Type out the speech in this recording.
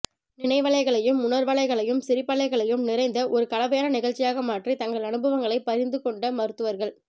நினைவலைகளும் உணர்வலைகளும் சிரிப்பலைகளும் நிறைந்த ஒரு கலவையான நிகழ்ச்சியாக மாற்றி தங்கள் அனுபவங்களை பகிர்ந்து கொண்ட மருத்துவர்கள்